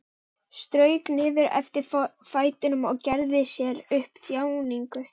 Strauk niður eftir öðrum fætinum og gerði sér upp þjáningu.